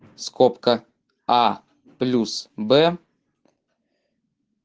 скобка а плюс б